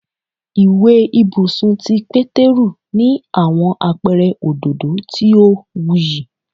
Iwe ibusun ti Peteru ni awọn apẹrẹ ododo ti o wuyi